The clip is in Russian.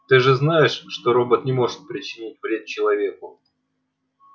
ты же знаешь что робот не может причинить вред человеку